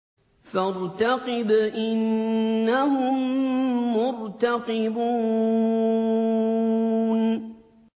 فَارْتَقِبْ إِنَّهُم مُّرْتَقِبُونَ